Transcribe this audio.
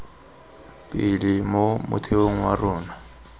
pele mo motheong wa rona